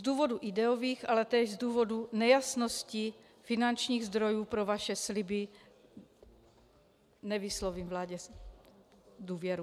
Z důvodů ideových, ale též z důvodů nejasností finančních zdrojů pro vaše sliby nevyslovím vládě důvěru.